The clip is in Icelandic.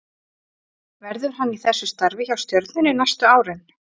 Verður hann í þessu starfi hjá Stjörnunni næstu árin?